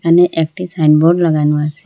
এখানে একটি সাইনবোর্ড লাগানো আছে।